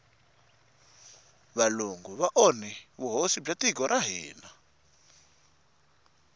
valungu va onhe vuhosi bya tiko ra hina